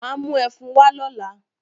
Mà á mú ẹfun wá lọ́la